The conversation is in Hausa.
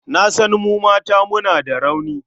Na san mu mata muna da rauni.